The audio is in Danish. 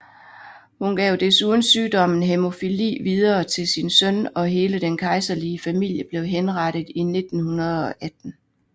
Hun gav desuden sygdommen hæmofili videre til sin søn og hele den kejserlige familie blev henrettet i 1918